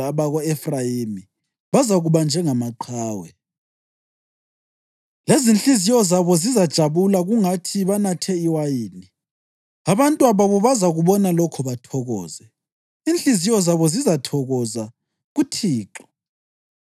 Abako-Efrayimi bazakuba njengamaqhawe, lezinhliziyo zabo zizajabula kungathi banathe iwayini. Abantwababo bazakubona lokho bathokoze; inhliziyo zabo zizathokoza kuThixo.